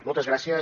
moltes gràcies